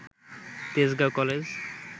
Tejgaon college